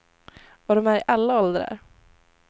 Och de är i alla åldrar.